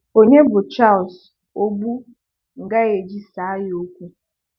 Onye bụ Charles Ogbu m ga-eji saa ya okwu?